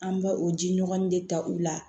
An bɛ o ji ɲɔgɔn de ta u la